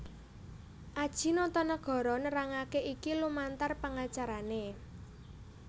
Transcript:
Adjie Notonegoro nerangake iki lumantar pengacarané